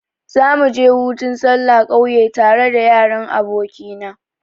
Za mu je hutun sallah kauye tare da yaran aboki na.